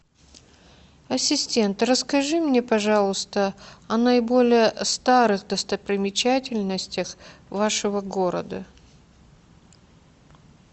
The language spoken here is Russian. ассистент расскажи мне пожалуйста о наиболее старых достопримечательностях вашего города